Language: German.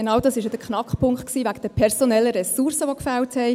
Genau das war ja der Knackpunkt – die personellen Ressourcen, die gefehlt haben.